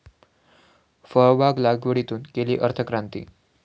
फळबाग लागवडीतून केली अर्थक्रांती